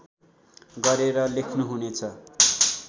गरेर लेख्नुहुनेछ